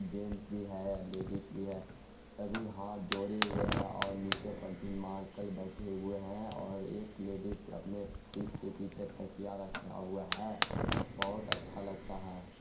Gents भी है ladies भी है सभी हाथ जोड़े हुए है और नीचे पलथी मालकर बैठे हुए है| और एक लेडीज अपने पीठ के पीछे तकिया रखा हुुआ है बोहोत अच्छा लगता है।